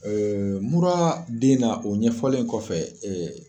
mura bɛ na o ɲɛfɔlen kɔfɛ